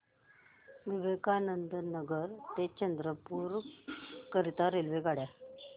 विवेकानंद नगर ते चंद्रपूर करीता रेल्वेगाड्या